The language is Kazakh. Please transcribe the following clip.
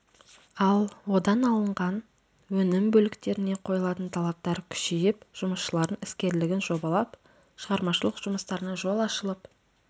ал одан алынған өнім бөліктеріне қойылатын талаптар күшейіп жұмысшылардың іскерлігін жобалап шығармашылық жұмыстарына жол ашылып